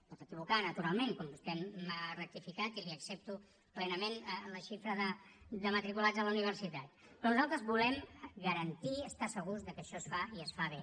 es pot equivocar naturalment com vostè m’ha rectificat i li accepto plenament la xifra de matriculats a la universitat però nosaltres volem garantir estar segurs que això es fa i es fa bé